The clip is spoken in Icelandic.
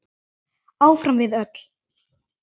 Áfram við öll.